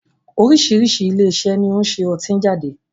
Oríṣiríṣi ilé iṣẹ́ ni ó ń ṣe ọtí jáde